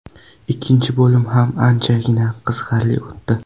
Ikkinchi bo‘lim ham anchagina qiziqarli o‘tdi.